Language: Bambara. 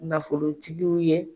Nafolotigiw ye.